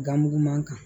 Ganmuguman kan